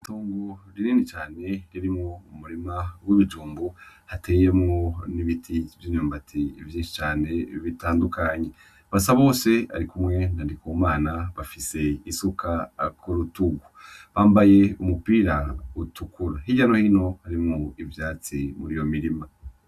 Itongo rinini cane ririmwo umurima w'ibijumbu, hateyemwo n'ibiti vy'imyumbati vyinshi cane bitandukanye. Basabose arikumwe na Ndikumana bafise isuka ku rutugu yambaye umupira utukura, hirya no hino harimwo ivyatsi muri iyo mirima.